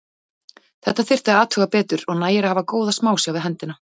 Þetta þyrfti að athuga betur og nægir að hafa góða smásjá við hendina.